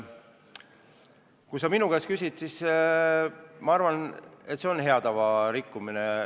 Kui sa minu käest küsid, siis ma arvan, et see on hea tava rikkumine.